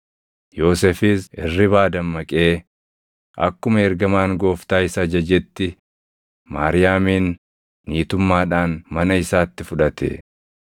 Yoosefis hirribaa dammaqee akkuma ergamaan Gooftaa isa ajajetti Maariyaamin niitummaadhaan mana isaatti fudhate.